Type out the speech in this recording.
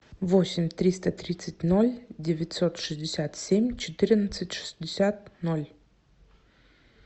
восемь триста тридцать ноль девятьсот шестьдесят семь четырнадцать шестьдесят ноль